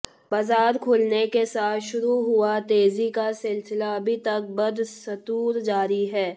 बाजार खुलने के साथ शुरू हुआ तेजी का सिलसिला अभी तक बदस्तूर जारी है